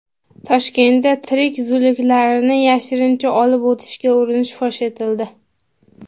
Toshkentda tirik zuluklarni yashirincha olib o‘tishga urinish fosh etildi.